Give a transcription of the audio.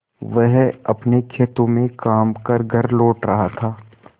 वह अपने खेतों में काम कर घर लौट रहा था